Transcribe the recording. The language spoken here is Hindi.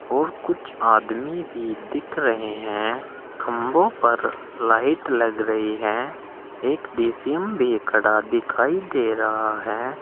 और कुछ आदमी भी दिख रहे हैं खंभों पर लाइट लग रही है एक डी_सी_एम भी खड़ा दिखाई दे रहा है।